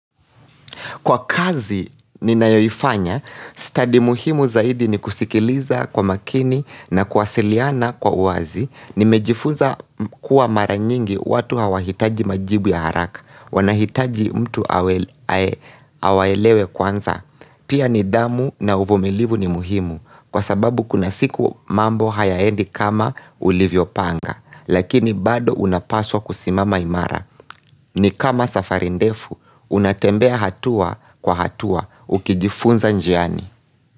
Kwa kazi, ninayoifanya, stadi muhimu zaidi ni kusikiliza kwa makini na kuwasiliana kwa uwazi. Nimejifunza kuwa mara nyingi watu hawahitaji majibu ya haraka. Wanahitaji mtu awaelewe kwanza. Pia nidhamu na uvumilivu ni muhimu. Kwa sababu kuna siku mambo hayaendi kama ulivyo panga. Lakini bado unapaswa kusimama imara. Ni kama safari ndefu, unatembea hatua kwa hatua ukijifunza njiani.